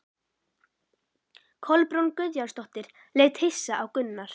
Kolbrún Guðjónsdóttir leit hissa á Gunnar.